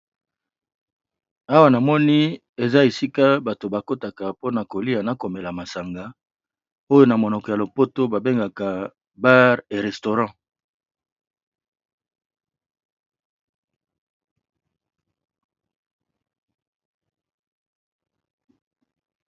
Awa na moni eza esika bato ba kotaka mpona kolia na komela masanga, oyo na monoko ya lopoto ba bengaka bar et restaurant.